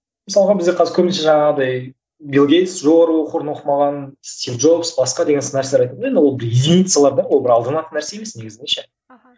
мысалға бізде қазір көбінесе жаңағыдай билл гейтс оқуын оқымаған стив джобс басқа деген сынды нәрселер айтамын да енді ол единицалар да ол бір алданатын нәрсе емес негізінде ше аха